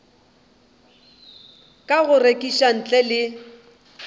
ka go rekiša ntle le